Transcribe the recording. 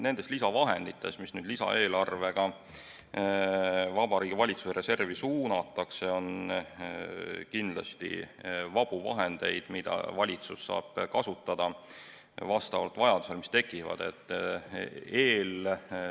Nendes lisavahendites, mis nüüd lisaeelarvega Vabariigi Valitsuse reservi suunatakse, on kindlasti vabu vahendeid, mida valitsus saab kasutada vastavalt tekkivatele vajadustele.